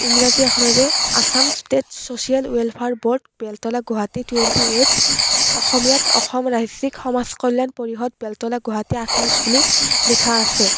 আখৰেৰে Assam state social welfare board Beltola Guwahati twenty এইত অসমীয়াত অসম ৰাজ্যিক সমাজ কল্যাণ পৰিষদ বেলতলা গুৱাহাটী আঠাইছ বুলি লিখা আছে।